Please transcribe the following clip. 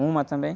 Uma também.